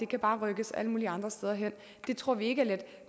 kan rykkes alle mulige andre steder hen det tror vi ikke er let